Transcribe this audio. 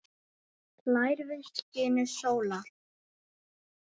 hlær við skini sólar